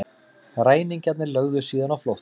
Ræningjarnir lögðu síðan á flótta